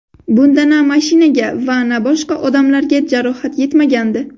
Bunda na mashinaga va na boshqa odamlarga jarohat yetmagandi.